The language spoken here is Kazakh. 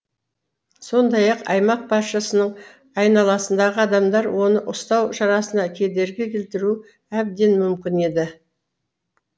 сондай ақ аймақ басшысының айналасындағы адамдар оны ұстау шарасына кедергі келтіруі әбден мүмкін еді